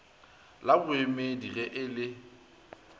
la boemedi ge e le